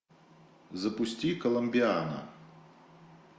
запусти коломбиана